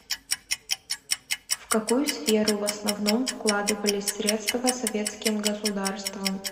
в какую сферу в основном вкладывались средства советским государством